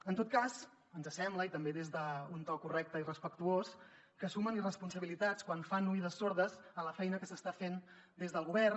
en tot cas ens sembla i també des d’un to correcte i respectuós que sumen irresponsabilitats quan fan oïdes sordes a la feina que s’està fent des del govern